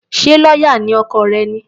Ṣé lọ́yà ni ọkọ rẹ̀ ni?